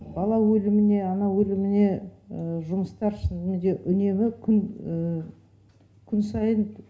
бала өліміне ана өліміне жұмыстар неде үнемі күн сайын